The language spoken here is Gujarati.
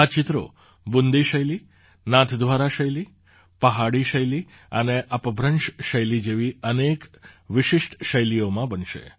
આ ચિત્રો બૂંદી શૈલી નાથદ્વારા શૈલી પહાડી શૈલી અને અપભ્રંશ શૈલી જેવી અનેક વિશિષ્ટ શૈલીઓમાં બનશે